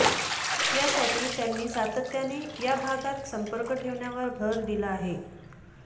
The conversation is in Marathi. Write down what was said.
यासाठी त्यांनी सातत्याने या भागात संपर्क ठेवण्यावर भर दिला आहे